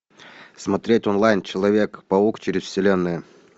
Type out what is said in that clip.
смотреть онлайн человек паук через вселенную